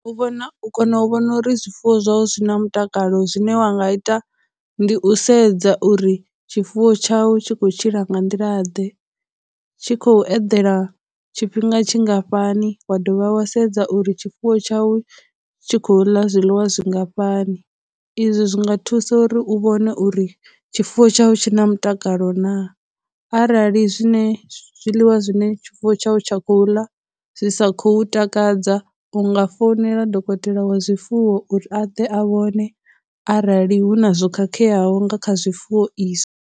U vhona, u kona u vhona uri zwifuwo zwau zwi na mutakalo, zwine wa nga ita ndi u sedza uri tshifuwo tshau tshi khou tshila nga nḓila ḓe, tshi khou eḓela tshifhinga tshingafhani, wa dovha wa sedza uri tshifuwo tshau tshi khou ḽa zwiḽiwa zwingafhani. Izwi zwi nga thusa uri u vhone uri tshifuwo tshau tshi na mutakalo na, arali zwine, zwiḽiwa zwine tshifuwo tshau tsha khou ḽa zwi sa khou takadza, u nga founela dokotela wa zwifuwo uri a ḓe a vhone arali huna zwo khakheaho nga kha zwifuwo izwi.